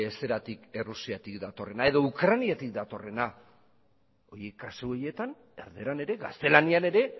errusiatik datorrena edo ukraniatik datorrena kasu horietan erdaran ere gaztelaniaren ere